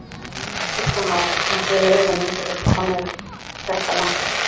Kristján Már: En þið eruð að minnsta kosti komnir þetta langt?